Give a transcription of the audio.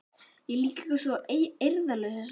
Ég er líka eitthvað svo eirðarlaus þessa stundina.